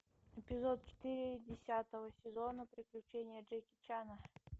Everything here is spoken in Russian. эпизод четыре десятого сезона приключения джеки чана